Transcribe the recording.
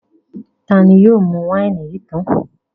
Ta ni yóò mú wáìnì yìí tán?